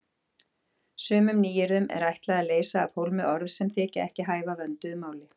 Sumum nýyrðum er ætlað að leysa af hólmi orð sem þykja ekki hæfa vönduðu máli.